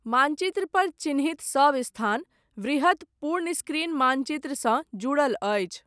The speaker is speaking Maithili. मानचित्रपर चिह्नित सब स्थान, वृहत पूर्ण स्क्रीन मानचित्रसँ जुड़ल अछि।